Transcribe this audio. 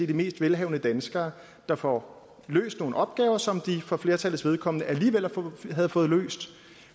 de mest velhavende danskere der får løst nogle opgaver som de for flertallets vedkommende alligevel ville have fået løst